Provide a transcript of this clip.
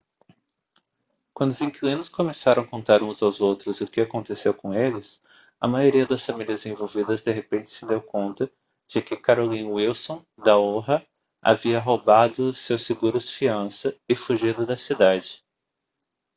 quando os inquilinos começaram a contar uns aos outros o que aconteceu com eles a maioria das famílias envolvidas de repente se deu conta de que carolyn wilson da oha havia roubado seus seguros-fiança e fugido da cidade